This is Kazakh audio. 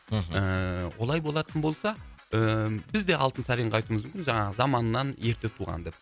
мхм ыыы олай болатын болса ыыы бізде алтынсаринға айтуымыз мүмкін жаңағы заманынан ерте туған деп